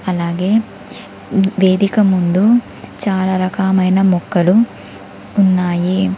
అలాగే వేదిక ముందు చాలా రకమైన మొక్కలు ఉన్నాయి.